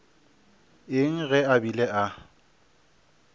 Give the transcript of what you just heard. eng ge a bile a